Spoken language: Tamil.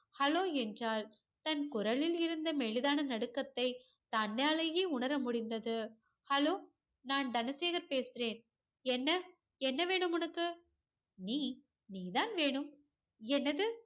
hello என்றால் தன் குரலில் இருந்த மெலிதான நடுக்கத்தை தன்னாலையே உணரமுடிந்தது hallo நான் தனசேகர் பேசுறேன் என்ன என்னவேணும் உனக்கு நீ நீதான் வேணும் என்னது